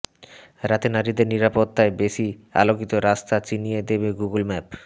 রাতে নারীদের নিরাপত্তায় বেশি আলোকিত রাস্তা চিনিয়ে দেবে গুগল ম্যাপ